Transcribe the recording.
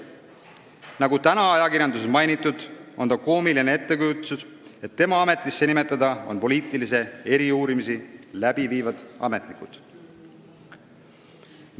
Nagu täna on ajakirjanduses mainitud, on tal koomiline ettekujutus, et poliitilisi eriuurimisi läbi viivad ametnikud on tema ametisse nimetada.